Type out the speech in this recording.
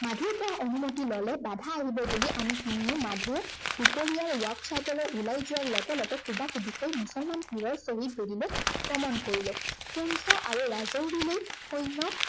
মাধুৰ পৰা অনুমতি ললে বাধা আহিব বুলি আমি তিনিও মাধুক দুপৰীয়াৰ work sight লৈ ওলাই যোৱাৰ লগে লগে কুবাকুবিকৈ মুছলমান পীৰৰ শ্বহীদ বেদীলৈ গমন কৰিলো। পুঞ্চ আৰু ৰাজাউৰিলৈ সৈন্য়